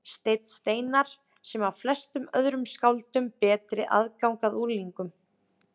Stein Steinarr, sem á flestum öðrum skáldum betri aðgang að unglingum.